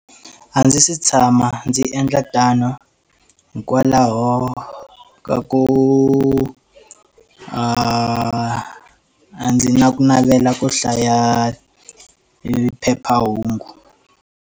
A ndzi se tshama ndzi endla tano hikwalaho ka ku ndzi na ku navela ku hlaya phephahungu.